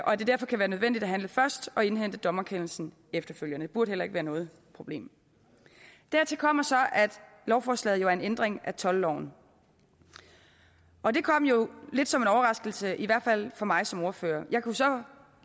og at det derfor kan være nødvendigt at handle først og indhente dommerkendelsen efterfølgende det burde heller ikke være noget problem dertil kommer så at lovforslaget jo er en ændring af toldloven og det kom lidt som en overraskelse i hvert fald for mig som ordfører jeg kunne så